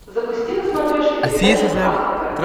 запусти на смотрешке передачу кхлм тв